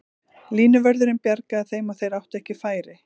Línuvörðurinn bjargaði þeim og þeir áttu ekki færi.